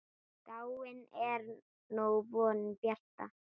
Dáin er nú vonin bjarta.